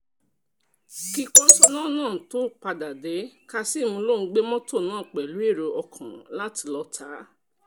kí kọ́ńsóná náà tóó padà dé kazeem lòún gbé mọ́tò náà pẹ̀lú èrò ọkàn àti lọ́ọ́ ta á